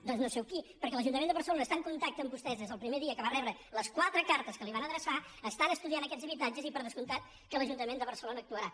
doncs no sé amb qui perquè l’ajuntament de barcelona està en contacte amb vostès des del primer dia que va rebre les qua·tre cartes que li van adreçar estan estudiant aquests habitatges i per descomptat que l’ajuntament de bar·celona actuarà